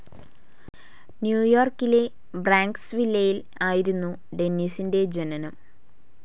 ന്യൂയോർക്കിലെ ബ്രോൻക്സ് വില്ലെയിൽ ആയിരുന്നു ഡെന്നിസിന്റെ ജനനം.